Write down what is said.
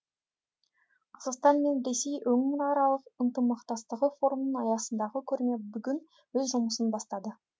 қазақстан мен ресей өңіраралық ынтымақтастығы форумының аясындағы көрме бүгін өз жұмысын бастады